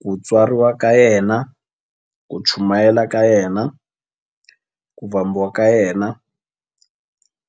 Ku tswariwa ka yena, ku chumayela ka yena, ku vambiwa ka yena,